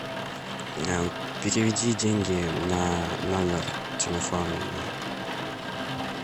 переведи деньги на номер телефона